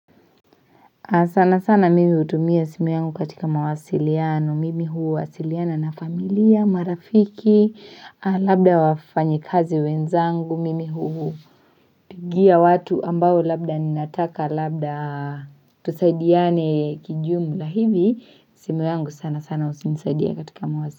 Sana sana mimi hutumia simu yangu katika mawasiliano, mimi huwasiliana na familia, marafiki, labda wafanyikazi wenzangu, mimi hu. Pigia watu ambao labda ninataka labda tusaidiane kijumula hivi, simu yangu sana sana hunisaidia katika mawasiliano.